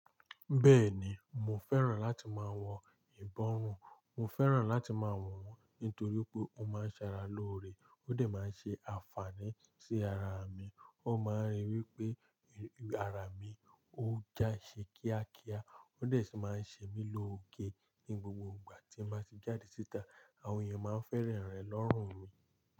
Bẹ́ẹ̀ni, mo fẹ́ràn láti máa wọ ìbọrùn. Mo fẹ́ràn láti máa wọ̀ wọ́n nítorí pé ó máa ń ṣara lóore, ó dà máa ń ṣe àǹfààní sí ara mi. Ó máa ń rí wí pé ara mi ó já ṣe kíákíá, ó dà sì máa ń ṣe mí lóge. Ni gbogbo ìgbà tí màá ti jáde síta, àwọn èèyàn máa ń fẹ́ràn rẹ̀ lọ́rùn mi.